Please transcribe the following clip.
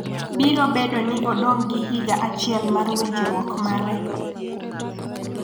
biro bedo ni odong' gi higa achiel mar winjruok mare